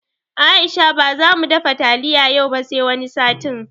Aisha baza mu dafa taliya yau ba sai wani satin